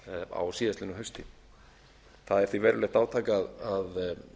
á síðastliðnu hausti það er því verulegt átak að